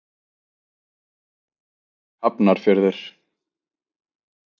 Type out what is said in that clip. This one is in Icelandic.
Lillý: Hafnarfjörður?